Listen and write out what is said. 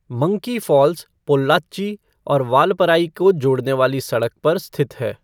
Monkey Falls Pollachi और वालपराई को जोड़ने वाली सड़क पर स्थित है।